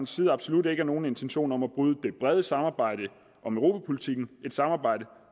side absolut ikke er nogen intentioner om at bryde det brede samarbejde om europapolitikken et samarbejde